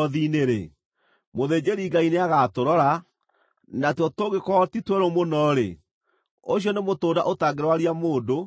mũthĩnjĩri-Ngai nĩagatũrora, na tuo tũngĩkorwo ti twerũ mũno-rĩ, ũcio nĩ mũtũnda ũtangĩrwaria mũndũ